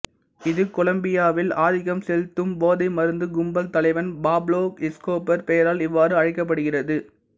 இது கொலம்பியாவில் ஆதிக்கம் செலுத்தும் போதை மருந்துக் கும்பல் தலைவன் பாப்லோ எஸ்கோபர் பெயரால் இவ்வாறு அழைக்கப்படுகிறது